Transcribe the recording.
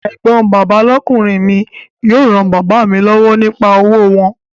Ẹ̀gbọ́n bàbá lọ́kùnrin mi yóò ran bàbá mi lọ́wọ́ nípa òwò wọn